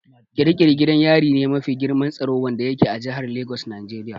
Ƙiri ƙiri gidan yari me mafi girman tsaro wanda yake a jihar Lagos Nigeria.